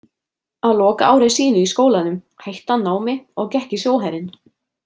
Á lokaári sínu í skólanum hætti hann námi og gekk í sjóherinn.